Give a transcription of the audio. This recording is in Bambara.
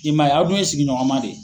I maa ye a dun ye sigiɲɔgɔnma de ye.